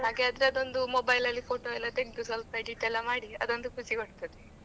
ಹಾಗೆ ಅದ್ರದೊಂದು mobile ಎಲ್ಲಾ photo ತೆಗ್ದು ಸ್ವಲ್ಪ edit ಎಲ್ಲಾ ಮಾಡಿ ಅದೊಂದು ಖುಷಿ ಕೊಡ್ತದೆ.